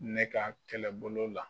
Ne ka kɛlɛbolo la.